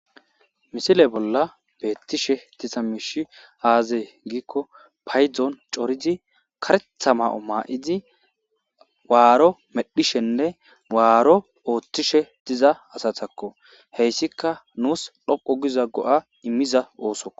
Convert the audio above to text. Misile bolla beettishe tiza miishi aazee giikko paydzoon coridi karetha ma'o maa'idi waaro medhishenne waaro ooththishe diza asatakko heyssika nuus dhoqo giza go'a immiza oosoo.